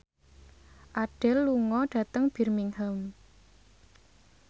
Adele lunga dhateng Birmingham